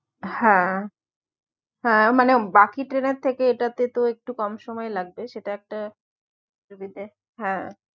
হ্যাঁ হ্যাঁ মানে বাকি ট্রেনের থেকে এটাতে তো একটু কম সময় লাগবে সেটা একটা দিতে হ্যাঁ